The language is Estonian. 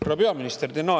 Härra peaminister!